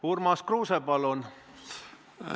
Urmas Kruuse, palun!